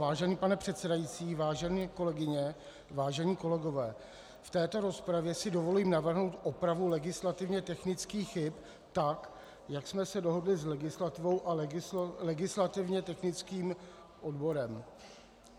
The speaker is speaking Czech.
Vážený pane předsedající, vážené kolegyně, vážení kolegové, v této rozpravě si dovolím navrhnout opravu legislativně technických chyb tak, jak jsme se dohodli s legislativou a legislativně technickým odborem.